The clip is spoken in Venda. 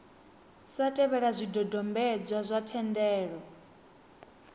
sa tevhela zwidodombedzwa zwa thendelo